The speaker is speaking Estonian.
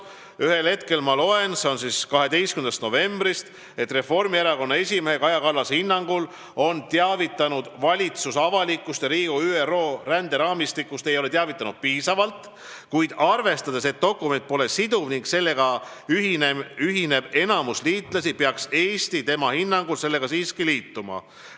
Ühel hetkel, s.o 12. novembril, ma lugesin Reformierakonna esimehe Kaja Kallase hinnangut, et valitsus ei ole avalikkust ega Riigikogu ÜRO ränderaamistikust piisavalt teavitanud, kuid arvestades seda, et dokument pole siduv ning sellega ühineb enamik liitlasi, peaks Eesti siiski ka liituma.